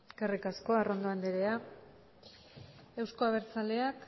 eskerrik asko arrondo anderea eusko abertzaleak